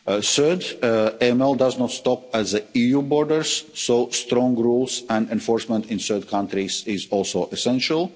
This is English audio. Third, AML does not stop at the EU borders, so strong rules and enforcement in third countries is also essential.